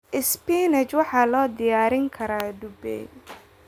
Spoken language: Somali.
Spinach waxaa loo diyaarin karaa dubay.